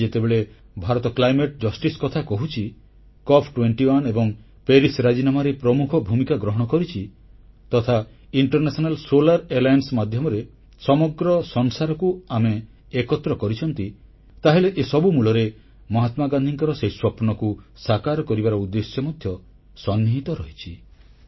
ଆଜି ଯେତେବେଳେ Bharat climate justice ବା ଜଳବାୟୁ ନ୍ୟାୟ ର କଥା କହୁଛି COP21 ଏବଂ ପ୍ୟାରିସ ରାଜିନାମାରେ ପ୍ରମୁଖ ଭୂମିକା ଗ୍ରହଣ କରିଛି ତଥା ଇଣ୍ଟରନ୍ୟାସନାଲ ସୋଲାର ଆଲିଆନ୍ସ ବା ଆନ୍ତର୍ଜାତିକ ସୌର ମେଣ୍ଟ ମାଧ୍ୟମରେ ସମଗ୍ର ସଂସାରକୁ ଆମେ ଏକତ୍ର କରିଛୁ ତାହେଲେ ଏସବୁ ମୂଳରେ ମହାତ୍ମାଗାନ୍ଧୀଙ୍କର ସେହି ସ୍ୱପ୍ନକୁ ସାକାର କରିବାର ଉଦ୍ଦେଶ୍ୟ ମଧ୍ୟ ସନ୍ନିହିତ ରହିଛି